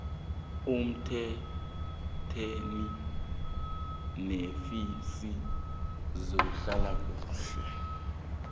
uthintane neofisi yezehlalakuhle